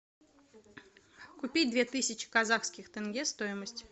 купить две тысячи казахских тенге стоимость